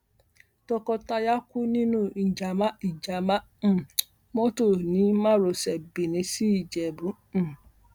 tọkọtìyàwó kú nínú ìjàmà ìjàmà um mọtò ní márosẹ benin sí ìjẹbù um